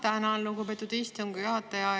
Ma tänan, lugupeetud istungi juhataja!